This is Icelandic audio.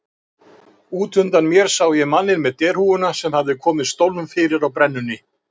Út undan mér sá ég manninn með derhúfuna sem hafði komið stólnum fyrir á brennunni.